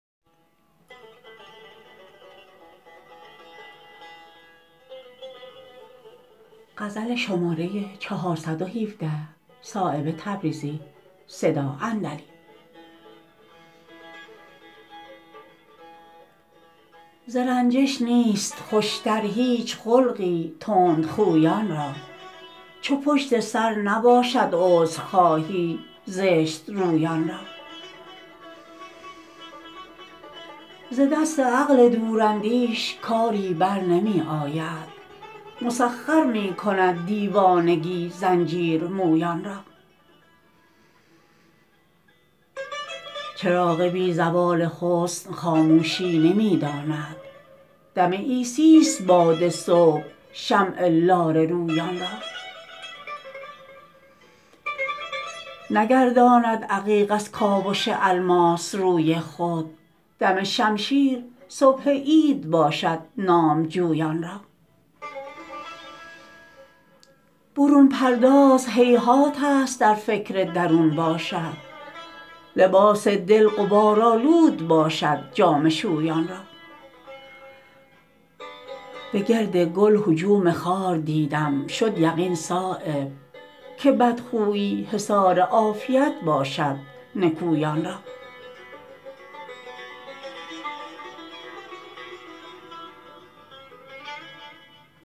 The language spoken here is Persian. ز رنجش نیست خوشتر هیچ خلقی تندخویان را چو پشت سر نباشد عذرخواهی زشت رویان را ز دست عقل دور اندیش کاری برنمی آید مسخر می کند دیوانگی زنجیرمویان را چراغ بی زوال حسن خاموشی نمی داند دم عیسی است باد صبح شمع لاله رویان را نگرداند عقیق از کاوش الماس روی خود دم شمشیر صبح عید باشد نامجویان را برون پرداز هیهات است در فکر درون باشد لباس دل غبارآلود باشد جامه شویان را به گرد گل هجوم خار دیدم شد یقین صایب که بدخویی حصار عافیت باشد نکویان را